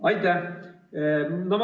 Aitäh!